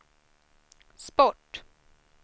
sport